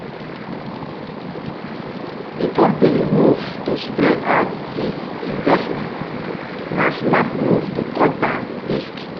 di company move to spread out e investments na smart move to cut down risk.